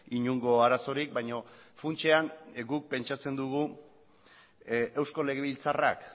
inongo arazorik baino funtsean guk pentsatzen dugu eusko legebiltzarrak